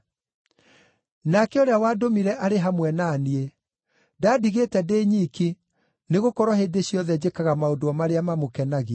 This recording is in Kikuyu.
Nake ũrĩa wandũmire arĩ hamwe na niĩ; ndandigĩte ndĩ nyiki, nĩgũkorwo hĩndĩ ciothe njĩkaga maũndũ o marĩa mamũkenagia.”